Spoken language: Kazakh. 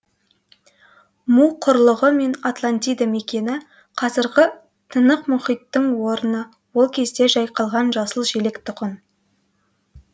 му құрлығы мен атлантида мекені қазіргі тынық мұхиттың орыны ол кезде жайқалған жасыл желек тұғын